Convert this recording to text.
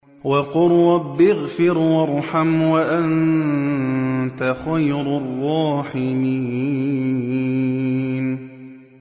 وَقُل رَّبِّ اغْفِرْ وَارْحَمْ وَأَنتَ خَيْرُ الرَّاحِمِينَ